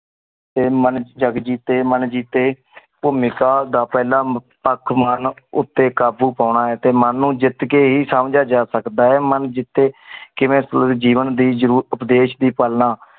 ਤੇ ਮਨ ਚ ਜਾਗ ਜੀਤੇ ਮਨ ਜਿਤੇ ਪੁਮੀ ਕਾਲ ਦਾ ਪਹਲਾ ਮੁਖ ਸਕ ਮਾਰਨ ਓਤੇ ਕਾਬੂ ਪੋਣਾ ਆਏ ਟੀ ਮਨ ਨੂ ਜਿਤ ਕੀ ਹੀ ਸਮ੍ਜਿਯਾ ਜਾ ਸਕ ਦਾ ਆਏ ਮਨ ਜਿੱਤੀ ਅਹ ਕਿਵੇ ਸੂਲ ਜੀਵਨ ਦੀ ਜਰੂ ਓਪ੍ਦੈਸ਼ ਦੀ ਪਾਲ ਨਾ